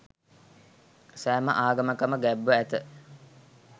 සෑම ආගමකම ගැබ්ව ඇත.